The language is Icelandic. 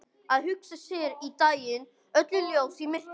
Að hugsa sér í dag öll ljósin í myrkrinu.